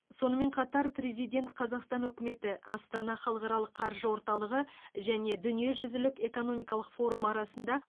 сонымен қатар президент қазақстан үкіметі астана халықаралық қаржы орталығы және дүниежүзілік экономикалық форум арасында